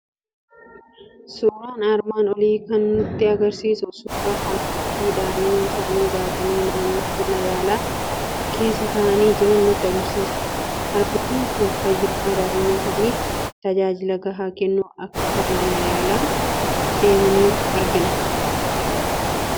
Suuraan armaan olii kan nutti argisiisu suuraa harmootii daa'ima isaanii baatanii naannoo mana yaalaa keessa taa'aa jiran nutti argisiisa. Harmootiin kun fayyummaa daa'ima isaaniif talaallii gahaa kennuu akka mana yaalaa deemaniiru argina.